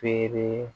Feere